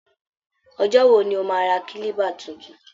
Ọjọ́ wo ni o máa ra Kílíbà tuntun?